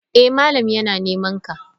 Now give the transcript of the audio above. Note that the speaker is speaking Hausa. Eh malam yana nemanka.